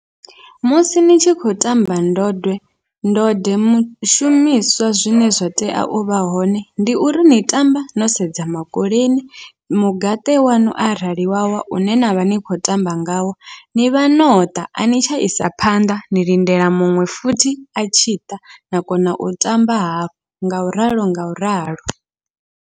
Musi ni tshi khou tamba ndode ndode mishumiswa zwine zwa tea uvha hone, ndi uri ni tamba no sedza makoleni mugaṱe waṋu arali wa wa une navha ni khou tamba ngawo, nivha noṱa ani tsha isa phanḓa ni lindela muṅwe futhi atshi ṱa na kona u tamba hafhu ngauralo ngauralo.